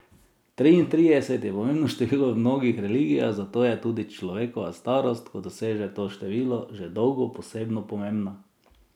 Triintrideset je pomembno število v mnogih religijah, zato je tudi človekova starost, ko doseže to število, že dolgo posebno pomembna.